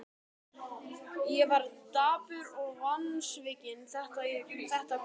Ég var dapur og vonsvikinn þetta kvöld.